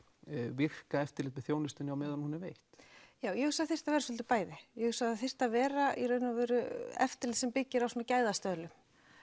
virka eftirlit með þjónustunni á meðan hún er veitt ég hugsa þyrfti að vera svolítið bæði ég hugsa að það þyrfti að vera eftirlit sem byggir á svona gæðastöðlum